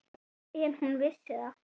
En hún vissi það.